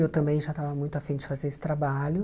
Eu também já estava muito afim de fazer esse trabalho.